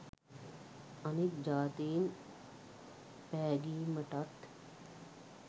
අනික් ජාතීන් පැගීමටත්